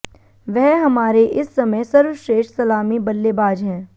वह हमारे इस समय सर्वश्रेष्ठ सलामी बल्लेबाज हैं